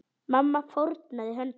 Mamma fórnaði höndum.